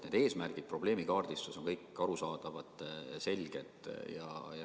Need eesmärgid ja probleemi kaardistus on kõik arusaadavad, selged.